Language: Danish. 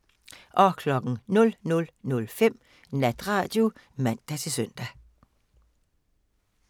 00:05: Natradio (man-søn)